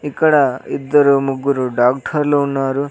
ఇక్కడ ఇద్దరు ముగ్గురు డాక్టర్లు ఉన్నారు.